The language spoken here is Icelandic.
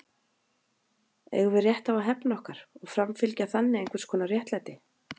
Eigum við rétt á að hefna okkar og framfylgja þannig einhvers konar réttlæti?